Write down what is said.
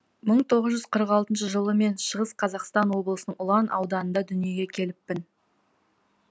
мың тоғыз жүз қырық алтыншы жылы мен шығыс қазақстан облысының ұлан ауданында дүниеге келіппін